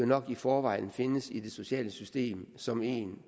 nok i forvejen findes i det sociale system som en